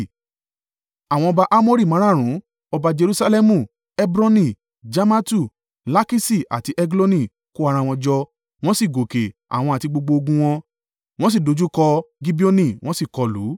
Àwọn ọba Amori márààrún, ọba Jerusalẹmu, Hebroni, Jarmatu, Lakiṣi àti Egloni, kó ara wọn jọ, wọ́n sì gòkè, àwọn àti gbogbo ogun wọn, wọ́n sì dojúkọ Gibeoni, wọ́n sì kọlù ú.